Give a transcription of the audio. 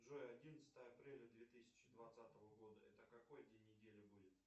джой одиннадцатое апреля две тысячи двадцатого года это какой день недели будет